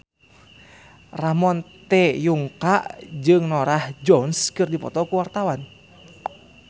Ramon T. Yungka jeung Norah Jones keur dipoto ku wartawan